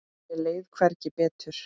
Mér leið hvergi betur.